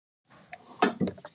Leist þér illa á þetta?